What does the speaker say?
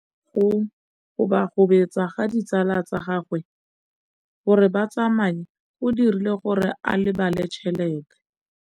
Go gobagobetsa ga ditsala tsa gagwe, gore ba tsamaye go dirile gore a lebale tšhelete.